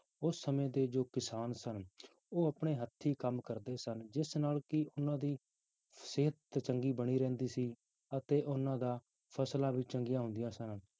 ਉਸ ਸਮੇਂ ਦੇ ਜੋ ਕਿਸਾਨ ਸਨ ਉਹ ਆਪਣੇ ਹੱਥੀ ਕੰਮ ਕਰਦੇ ਸਨ, ਜਿਸ ਨਾਲ ਕਿ ਉਹਨਾਂ ਦੀ ਸਿਹਤ ਚੰਗੀ ਬਣੀ ਰਹਿੰਦੀ ਸੀ ਅਤੇ ਉਹਨਾਂ ਦਾ ਫਸਲਾਂ ਵੀ ਚੰਗੀਆਂ ਹੁੰਦੀਆਂ ਸਨ